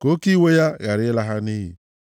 ka oke iwe ya ghara ịla ha nʼiyi.